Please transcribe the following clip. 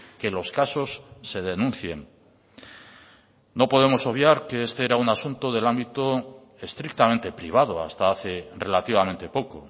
que los casos se denuncien no podemos obviar que este era un asunto del ámbito estrictamente privado hasta hace relativamente poco